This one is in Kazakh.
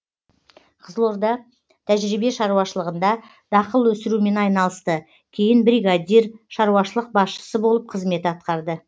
қызылорда тәжірибе шаруашылығында дақыл өсірумен айналысты кейін бригадир шаруашылық басшысы болып қызмет атқарды